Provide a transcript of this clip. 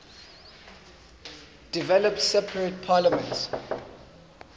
developed separate parliaments